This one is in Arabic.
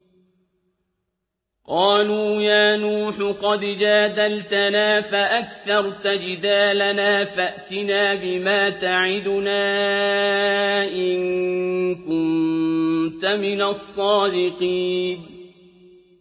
قَالُوا يَا نُوحُ قَدْ جَادَلْتَنَا فَأَكْثَرْتَ جِدَالَنَا فَأْتِنَا بِمَا تَعِدُنَا إِن كُنتَ مِنَ الصَّادِقِينَ